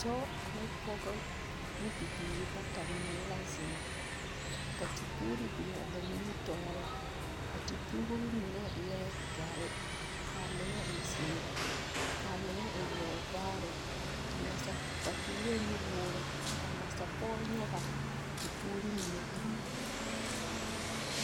Dɔɔ ane pɔge ne bibiiri bata mine la zeŋe, ka tepuuri biŋaa ba nimitɔɔreŋ. A te puuri mine eɛ dɔre, kaa mine e zeere, kaa mine e yɔɔvaare. A nasa ba toorɛɛ nu-woore, kaa nasapɔge nyɔgaa a tepuuri mine taa.